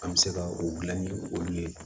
An bɛ se ka o gilan ni olu ye